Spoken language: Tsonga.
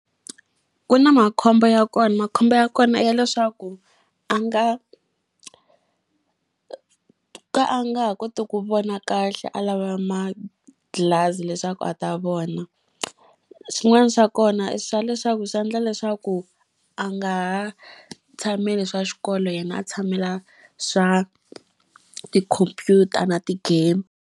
Ku na makhombo ya kona. Makhombo ya kona i ya leswaku a nga ka a nga ha koti ku vona kahle a lava ma-glass leswaku a ta vona. Swin'wana swa kona i swa leswaku swi endla leswaku a nga ha tshameli swa xikolo yena a tshamela swa tikhompyuta na ti-game.